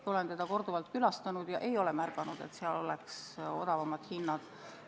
Ma olen seda korduvalt külastanud ja ei ole märganud, et seal oleks odavamad hinnad.